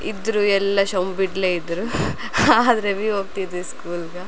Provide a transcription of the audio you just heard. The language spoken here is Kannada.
ಇದ್ರು ಎಲ್ಲಾ ಶೋಮ್ಮ್ಬಿಡ್ಳೆ ಇದ್ರ್ ಹಾದ್ರವಿ ಹೋಗ್ತಿದ್ವಿ ಸ್ಕೂಲ್ಗ .